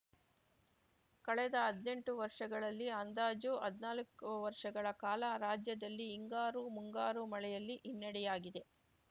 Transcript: ಕಳೆದ ಹದ್ನೆಂಟು ವರ್ಷಗಳಲ್ಲಿ ಅಂದಾಜು ಹದ್ನಾಲ್ಕು ವರ್ಷಗಳ ಕಾಲ ರಾಜ್ಯದಲ್ಲಿ ಹಿಂಗಾರು ಮುಂಗಾರು ಮಳೆಯಲ್ಲಿ ಹಿನ್ನಡೆಯಾಗಿದೆ